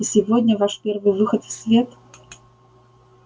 и сегодня ваш первый выход в свет